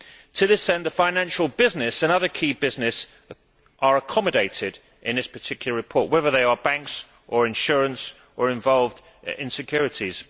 To this end, financial business and other key business are accommodated in this particular report, whether they are banks or insurance or involved in securities.